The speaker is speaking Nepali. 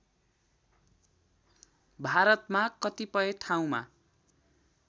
भारतमा कतिपय ठाउँमा